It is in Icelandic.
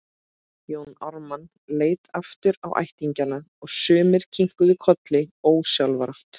Jón Ármann leit aftur á ættingjana og sumir kinkuðu kolli ósjálfrátt.